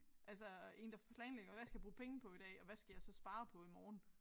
Altså én der planlægger hvad skal jeg bruge penge på i dag og hvad skal jeg så spare på i morgen